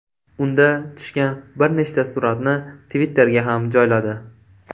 Unda tushgan bir nechta suratni Twitter’ga ham joyladi.